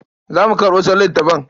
Za mu karɓo sauran littafan.